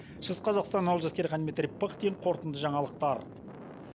шығыс қазақстан олжас керейхан дмитрий пыхтин қорытынды жаңалықтар